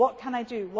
money? What can